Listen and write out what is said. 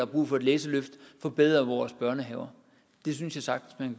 brug for et læseløft og forbedre vores børnehaver det synes jeg sagtens at